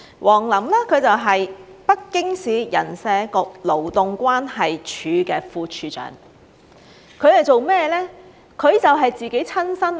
王林是北京市人社局勞動關係處的副處長，他是做甚麼的呢？他就是自己親身......